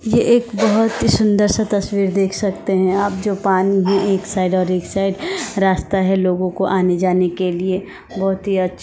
ये एक बहोत ही सुंदर सा तस्वीर देख सकते है आप जो पानी भी एक साइड और एक साइड रास्ता है लोगो को आने जाने के लिए बहोत ही अच्छा--